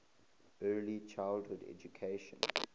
early childhood education